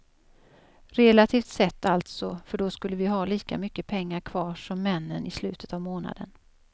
Relativt sett alltså, för då skulle vi ha lika mycket pengar kvar som männen i slutet av månaden.